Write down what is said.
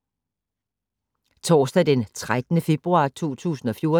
Torsdag d. 13. februar 2014